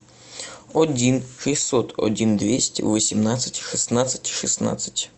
один шестьсот один двести восемнадцать шестнадцать шестнадцать